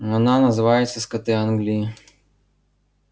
она называется скоты англии